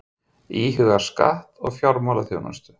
Íhuga skatt á fjármálaþjónustu